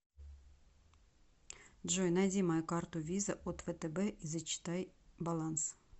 джой найди мою карту виза от втб и зачитай баланс